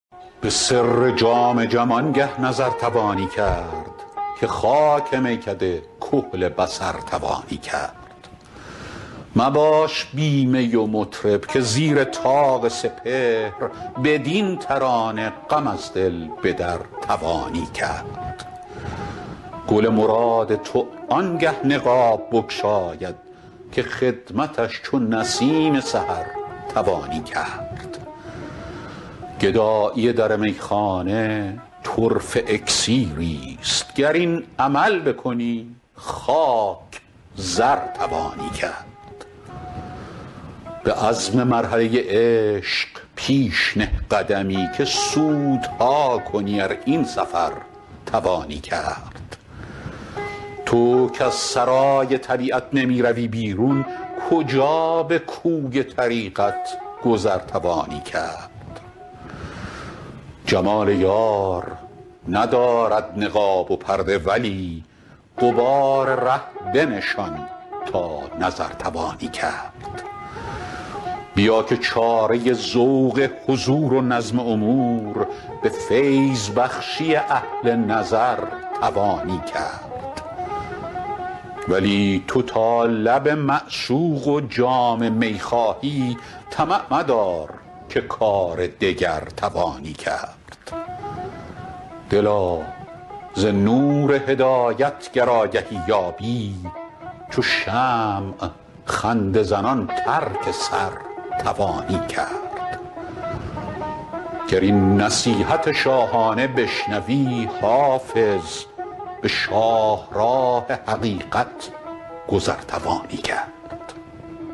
به سر جام جم آنگه نظر توانی کرد که خاک میکده کحل بصر توانی کرد مباش بی می و مطرب که زیر طاق سپهر بدین ترانه غم از دل به در توانی کرد گل مراد تو آنگه نقاب بگشاید که خدمتش چو نسیم سحر توانی کرد گدایی در میخانه طرفه اکسیریست گر این عمل بکنی خاک زر توانی کرد به عزم مرحله عشق پیش نه قدمی که سودها کنی ار این سفر توانی کرد تو کز سرای طبیعت نمی روی بیرون کجا به کوی طریقت گذر توانی کرد جمال یار ندارد نقاب و پرده ولی غبار ره بنشان تا نظر توانی کرد بیا که چاره ذوق حضور و نظم امور به فیض بخشی اهل نظر توانی کرد ولی تو تا لب معشوق و جام می خواهی طمع مدار که کار دگر توانی کرد دلا ز نور هدایت گر آگهی یابی چو شمع خنده زنان ترک سر توانی کرد گر این نصیحت شاهانه بشنوی حافظ به شاهراه حقیقت گذر توانی کرد